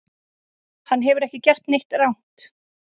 Hann hefur ekki gert neitt rangt